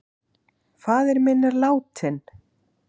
Faðir minn er látinn.